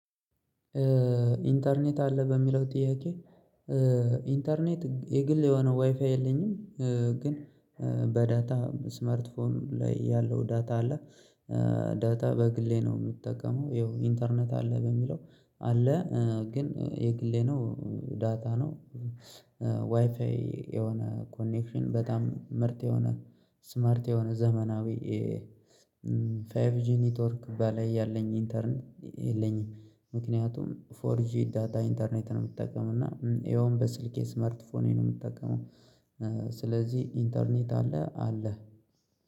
ኢንተርኔት አለ በሚለው ጥያቄ? ኢንተርኔት የግል የሆነ ዋይፋይ የለኝም። ግን በዳታ ስማርትፎን ያለው ዳታ አለ። ዳታ በግሌ ነው ምጠቀመው። ይኸው ኢንተርኔት አለ በሚለው አለ። ግን የግሌ ነው ዳታ ነው። ዋይፋይ የሆነ ኮኔክሽን በጣም ምርጥ የሆነ ስማርት የሆነ ዘመናዊ። ፋይፍ ጂ ኔትወርክ በላይ ያለኝ ኢንተርኔ የለኝም። ምክንያቱም ፎር ጂ ዳታ ኢንተርኔት ነው የምጠቀመው እና ይኸውም በስልኬ ስማርትፎኔ ነው የምጠቀመው። ስለዚህ ኢንተርኔት አለህ አለ።